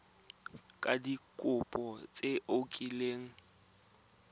ka dikopo tse o kileng